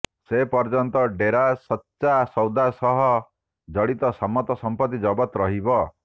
ସେପର୍ଯ୍ୟନ୍ତ ଡେରା ସଚ୍ଚା ସୌଦା ସହ ଜଡିତ ସମସ୍ତ ସମ୍ପତ୍ତି ଜବତ ରହିବ